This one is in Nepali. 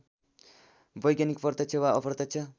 वैज्ञानिक प्रत्यक्ष वा अप्रत्यक्ष